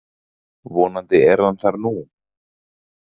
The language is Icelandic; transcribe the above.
Vonandi er hann þar nú.